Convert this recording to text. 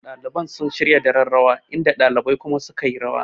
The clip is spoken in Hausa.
Ɗaliban sun shirya daren rawa inda ɗalibai kuma sukayi rawa